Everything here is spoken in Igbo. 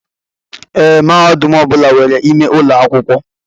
Ee, mahadum ọbula nwèrè ime ụlọ akwụkwọ.